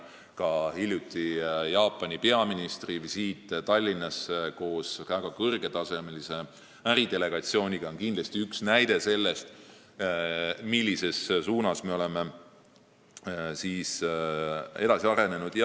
Ka hiljutine Jaapani peaministri visiit Tallinnasse koos väga kõrgetasemelise äridelegatsiooniga on kindlasti üks näide sellest, millises suunas me oleme edasi arenenud.